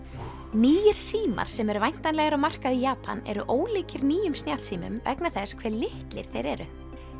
nýir símar sem eru væntanlegir á markað í Japan eru ólíkir nýjum snjallsímum vegna þess hve litlir þeir eru